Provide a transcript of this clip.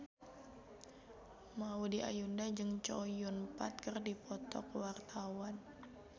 Maudy Ayunda jeung Chow Yun Fat keur dipoto ku wartawan